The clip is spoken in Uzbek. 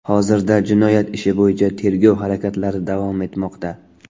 Hozirda jinoyat ishi bo‘yicha tergov harakatlari davom etmoqda.